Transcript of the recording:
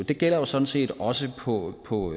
det gælder jo sådan set også på på